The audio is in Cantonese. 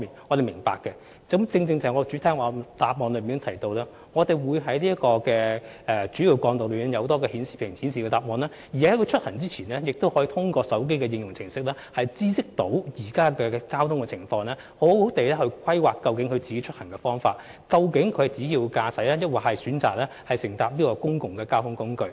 我正正在主體答覆中提及，我們會在主要幹道的顯示屏顯示有關資訊，而駕駛者在出行前亦可透過手機的應用程式知悉當時的交通情況，以便更好地規劃出行方法，例如應該選擇自駕還是使用公共交通工具。